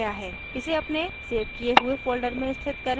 इसे अपने सेव किये हुए folder में स्थित करें